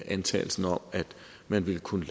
antagelsen om at man ville kunne